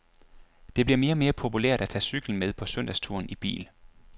Det bliver mere og mere populært at tage cyklen med på søndagsturen i bil.